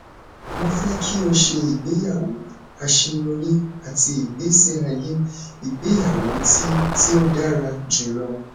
mo fẹ ki o ṣe igbeyawo aṣeyọri ati igbesi aye igbeyawo ti ti o dara julọ